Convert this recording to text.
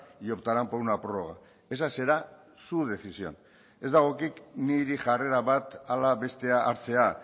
y optarán por una prórroga esa será su decisión ez dagokit niri jarrera bat ala bestea hartzea